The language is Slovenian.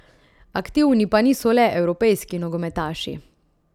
Aktivni pa niso le evropejski nogometaši.